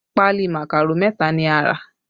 Pali màkàró mẹta ni a rà